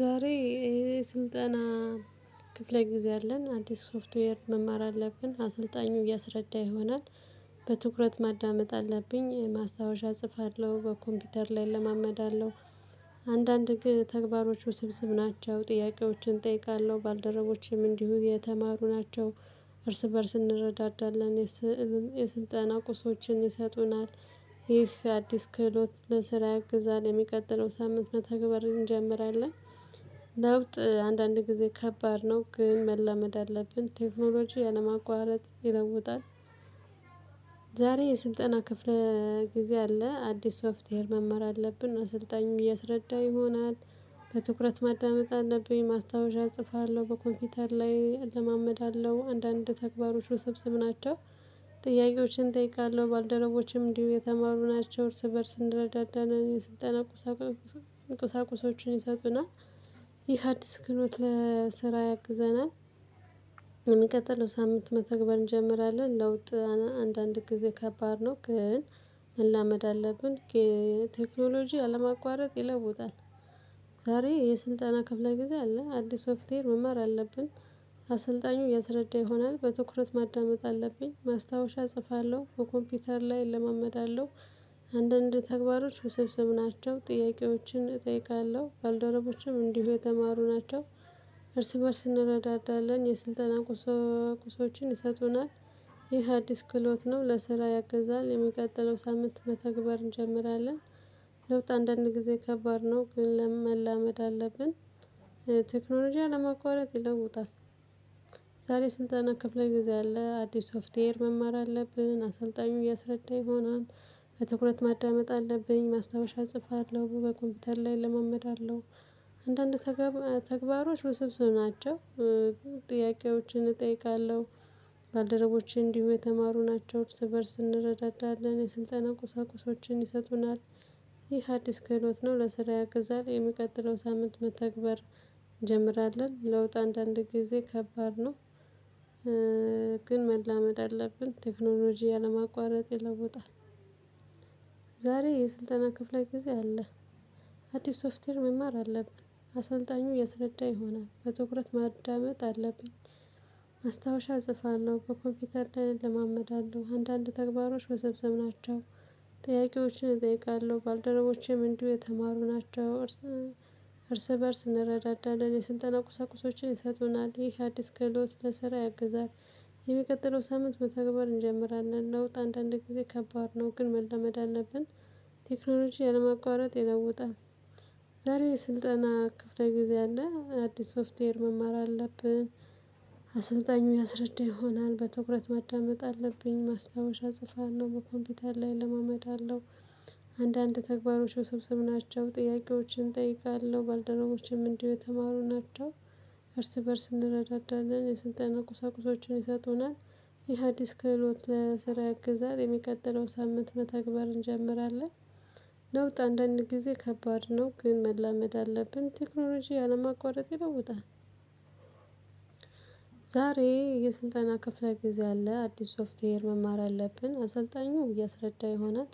ዛሬ የስልጠና ክፍለ ጊዜ አለን አዲስ ሶፍትዌር መማር አለብን አሰልጣኙ እያስረዳ ይሆናል በትኩረት ማዳመጥ አለብኝ ማስታወሻ እጽፋለሁ በኮምፒውተር ላይ እለማመዳለሁ። አንዳንድ ተግባሮች ውስብስብ ናቸው ጥያቄዎችን እጠይቃለሁ ባልደረቦቼም እንዲሁ የተማሩ ናቸው። እርስ በእርስ እንረዳዳለን። የስልጠና ቁሶችን ይሰጡናል። ይህ አዲስ ክህሎት ለስራ ያግዛል ለሚቀጥለው ሳምንት መተግበር እንጀምራለን። ለውጥ አንዳንድ ጊዜ ከባድ ነው ግን መላመድ አለብን ቴክኖሎጂ ያለማቋረጥ ይለውጣል። ዛሬ የስልጠና ክፍለ ጊዜ አለ አዲስ ሶፍትዌር መማር አለብን እና ስልጣኙ እያስረዳ ይሆናል። በትኩረት ማዳመጥ አለብኝ ማስታወሻ እጽፋለሁ በኮምፒውተር ላይ እለማመዳለሁ አንዳንድ ተግባሮች ወሰብስብ ናቸው። ጥያቄዎችን እጠይቃለሁ ባልደረችም እንዲሁ የተማሩ ናቸው እርስ በእርስ እንደረዳዳን የስልጠና ቁሳቁሶቹን ይሰጡናል። ይህ አዲስ ክህሎት ለስራ ያግዘናል። የሚቀጥለው ሳምንት መተግበር እንጀምራለን ለውጥ አንዳንድ ጊዜ ከባድ ነው ግን መላመድ አለብን። ቴክኖሎጂ ያለማቋረጥ ይለውጣል። ዛሬ የስልጠና ክፍለ ጊዜ አለ አዲስ ሶፍትዌር መማር አለብን። አሰልጣኙ እያስረዳ ይሆናል በትኩረት ማዳመጥ አለብኝ ማስታወሻ እጽፋለሁ በኮምፒውተር ላይ እለማመዳለሁ። አንዳንድ ተግባሮች ውሰብስብ ናቸው ጥያቄዎችን እጠይቃለሁ ባልደረቦችም እንዲሁ የተማሩ ናቸው። እርስ በእርስ እንረዳዳለን የስልጠና ቁሶ ቁሶችን ይሰጡናል። ይህ አዲስ ክህሎት ነው ለስራ ያግዛል የሚቀጥለው ሳምንት መተግበር እንጀምራለን። ለውጥ አንዳንድ ጊዜ ከባድ ነው ግን ለምን? መላመድ አለብን። ቴክኖሎጂ ያለማቋረጥ ይለውጣል። ዛሬ ስልጠና ክፍለ ጊዜ አለ አዲስ ሶፍትዌር መማር አለብን አሰልጣኙ እያስረዳ ይሆናል። በትኩረት ማዳመጥ አለብኝ ማስታወሻ እጽፋለሁ በኮምፒውተር ላይ እለማመዳለሁ። አንዳንድ ተግባሮች ውስብስብ ናቸው። ጥያቄዎችን እጠይቃለሁ። ባልደረቦቼ እንዲሁ የተማሩ ናቸው እርስ በእርስ እንረዳለን የስልጠና ቁሳቁሶችን ይሰጡናል። ይህ አዲስ ክህሎት ነው ለስራ ያግዛል የሚቀጥለው ሳምንት መተግበር እንጀምራለን ለውጥ አንዳንድ ጊዜ ከባድ ነው። ግን መላመድ አለብን ቴክኖሎጂ ያለማቋረጥ ይለውጣል። ዛሬ የስልጠና ክፍለ ጊዜ አለ። አዲስ ሶፍትዌር መማር አለብን። አሰልጣኙ እያስረዳ ይሆናል በትኩረት ማዳመጥ አለብን። ማስታወሻ እጽፋለሁ በኮምፒውተር ላይ እለማመዳለሁ አንዳንድ ተግባሮች ወስብስብ ናቸው። ጥያቄዎችን እጠይቃለሁ ባልደረቦቼም እንዲሁ የተማሩ ናቸው። እርስ እርስ በእርስ እንረዳዳለን የስልጠና ቁሳቁሶችን ይሰጡናል ይህ አዲስ ክህሎት ለስራ ያግዛል። የሚቀጥለው ሳምንት መተግበር እንጀምራለን ለውጥ አንዳንድ ጊዜ ከባድ ነው ግን መላመድ አለብን። ቴክኖሎጂ ያለማቋረጥ ይለውጣል። ዛሬ ስልጠና ክፍለ ጊዜ አለ አዲስ ሶፍትዌር መማር አለብን። አሰልጣኙ ያስረዳ ይሆናል በትኩረት ማዳመጥ አለብኝ ማስታወሻ እጽፋለሁ በኮምፒውተር ላይ እለማመዳለው። አንዳንድ ተግባሮች ወሰብስብ ናቸው ጥያቄዎችን እጠይቃለሁ ባልደረቦቼም እንዲሁ የተማሩ ናቸው። እርስ በእርስ እንረዳዳለን የስልጠና ቁሳቁሶችን ይሰጡናል። ይህ አዲስ ክህሎት ለስራ ያግዛል የሚቀጥለው ሳምንት መተግበር እንጀምራለን። ለውጥ አንዳንድ ጊዜ ከባድ ነው ግን መላመድ አለብን ቴክኖሎጂ አለማቋረጥ ይለውጣል። ዛሬ የስልጣና ክፍለ ጊዜ አለ አዲስ ሶፍትዌር መማር አለብን አሰልጣኙ እያስረዳ ይሆናል።